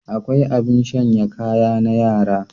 Akwai abin shanya kaya na yara.